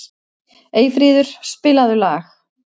Eyfríður, spilaðu lag.